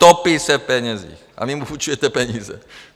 Topí se v penězích a vy jim půjčujete peníze.